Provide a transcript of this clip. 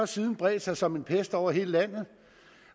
siden bredt sig som en pest over hele landet